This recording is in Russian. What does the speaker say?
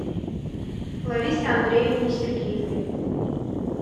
ларисе андреевне сергеевой